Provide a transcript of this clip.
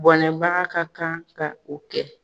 Bɔnɛbaga ka kan ka o kɛ.